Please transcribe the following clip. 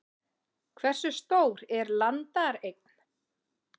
Hversu stór er landareign?